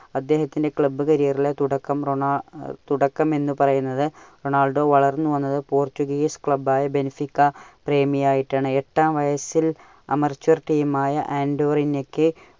അദ്ദേഹത്തിന്റെ club career ന്റെ തുടക്കം റൊണാൾ ~ തുടക്കം എന്ന് പറയുന്നത് റൊണാൾഡോ വളർന്നു വന്നത് പോർച്ചുഗീസ് club ആയ ബെൻസിക പ്രേമി ആയിട്ടാണ്. എട്ടാം വയസിൽ amature team ആയ അന്റോറിനയ്ക്